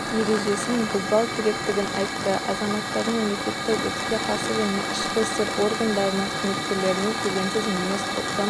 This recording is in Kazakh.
ережесін бұзбау керектігін айтты азаматтардың мемлекеттік өртке қарсы және ішкі істер органдарының қызметкерлеріне келеңсіз мінез-құлқын